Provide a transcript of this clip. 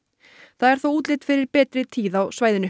það er þó útlit fyrir betri tíð á svæðinu